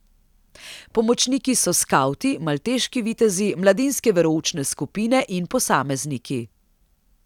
Pomočniki so skavti, malteški vitezi, mladinske veroučne skupine in posamezniki.